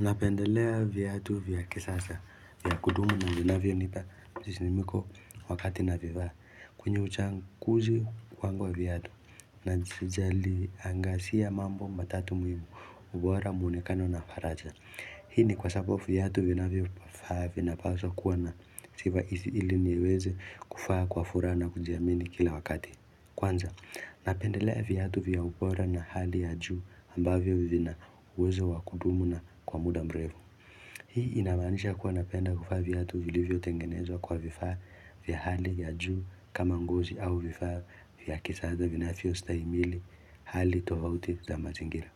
Napendelea viatu vya kisasa vya kudumu na vinavyonipa msisimko wakati navivaa. Kwenye uchaguzi wangu viatu najali angazia mambo matatu muhimu ubora muonekano na faraja Hii ni kwa sababu viatu vinavyovaa vinapaswa kuwa na sifa hizi ili niweze kuvaa kwa furaha na kujiamini kila wakati kwanza Napendelea viatu vya ubora na hali ya juu ambavyo vina uwezo wa kudumu na kwa muda mrefu. Hii inamaanisha kuwa napenda kuvaa viatu vilivyotengenezwa kwa vifaa vya hali ya juu kama ngozi au vifaa vya kisasa vinavyostahimili hali tofauti za mazingira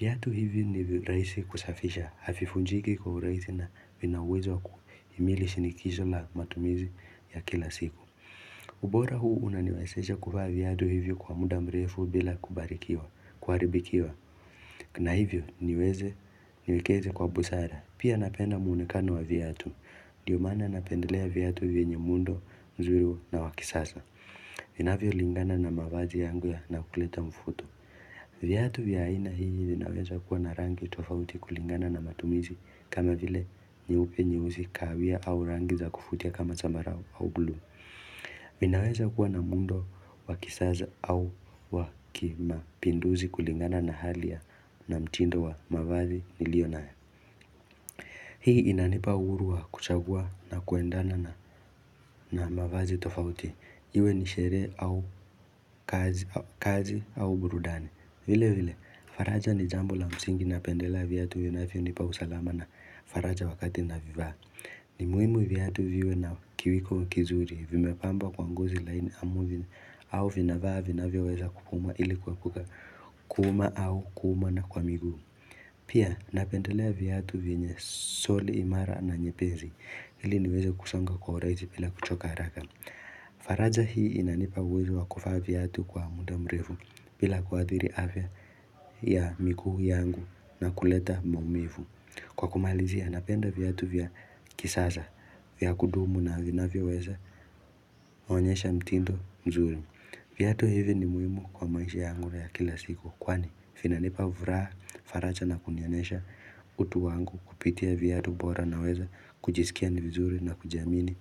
Viatu hivi ni rahisi kusafisha havivunjiki kwa urahisi na vina uwezo wa kuhimili shinikizo la matumizi ya kila siku ubora huu unaniwezesha kuvaa viatu hivyo kwa muda mrefu bila kubarikiwa, kuharibikiwa na hivyo niweze niwekeze kwa busara. Pia napenda muonekano wa viatu Ndiyo maana napendelea viatu vyenye muundo mzuri na wa kisasa Vinavyolingana na mavazi yangu na kuleta mvuto. Viatu vya aina hivi vinaweza kuwa na rangi tofauti kulingana na matumizi kama vile nyeupe nyeusi kawia au rangi za kuvutia kama zambarau au blue Ninaweza kuwa na muundo wa kisasa au wa kimapinduzi kulingana na hali ya na mtindo wa mavazi nilionayo. Hii inanipa uhuru wa kuchagua na kuendana na na mavazi tofauti Iwe ni sherehe au kazi au burudani. Vile vile, faraja ni jambo la msingi napendelea viatu vinavyonipa usalama na faraja wakati navivaa ni muhimu viatu viwe na kiwiko kizuri vimepambwa kwa ngozi laini ama vina au vinavaa vinavyoweza kupumua ili kuepuka kuuma au kumwa na kwa miguu Pia napendelea viatu vyenye soli imara na nyepesi ili niweze kusonga kwa urahisi bila kuchoka haraka faraja hii inanipa uwezo wa kuvaa viatu kwa muda mrefu bila kuadhiri afya ya miguu yangu na kuleta maumivu. Kwa kumalizia, napenda viatu vya kisasa, vya kudumu na vinavyoweza onyesha mtindo mzuri. Viatu hivi ni muhimu kwa maisha yangu ya kila siku. Kwani vinanipa furaha, faraja na kunionyesha utu wangu kupitia viatu bora naweza kujisikia ni vizuri na kujiamini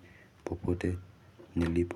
popote nilipo.